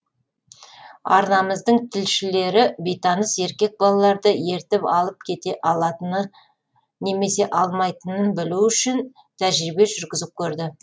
арнамыздың тілшілері бейтаныс еркек балаларды ертіп алып кете алатыныны немесе алмайтынын білу үшін тәжірибе жүргізіп көрді